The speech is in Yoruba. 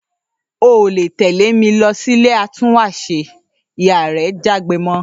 ‘O ò lè tè̩lé mi lo̩ sí ilé atúnwàṣe!', ìyá rẹ̀ jágbe mo̩